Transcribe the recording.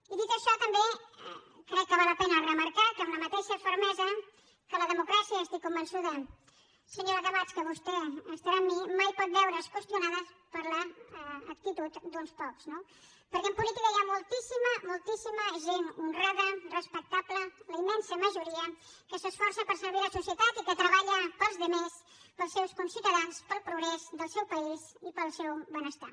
i dit això també crec que val la pena remarcar amb la mateixa fermesa que la democràcia i estic convençuda senyora camats que vostè estarà amb mi mai pot veure’s qüestionada per l’actitud d’uns pocs no perquè en política hi ha moltíssima moltíssima gent honrada respectable la immensa majoria que s’esforça per servir la societat i que treballa per als altres per als seus conciutadans per al progrés del seu país i per al seu benestar